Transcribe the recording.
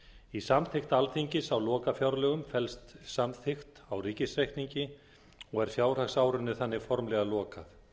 í samþykkt alþingis á lokafjárlögum felst samþykkt á ríkisreikningi og er fjárhagsárinu þannig formlega lokað